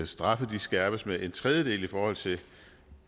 straffe skærpes med en tredjedel i forhold til